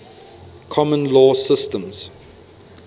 common law systems